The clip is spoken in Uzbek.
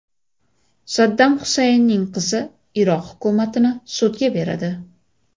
Saddam Xusaynning qizi Iroq hukumatini sudga beradi.